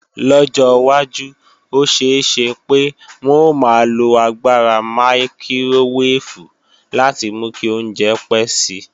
Lọ́jọ́ wájú, ó ṣeé ṣe pé wọn ó maa lo agbára mákíróweèfù láti mú kí oúnjẹ pé si.